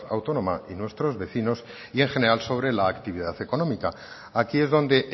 autónoma y nuestros vecinos y en general sobre la actividad económica aquí es donde